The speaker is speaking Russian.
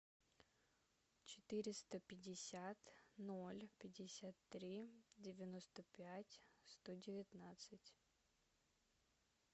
четыреста пятьдесят ноль пятьдесят три девяносто пять сто девятнадцать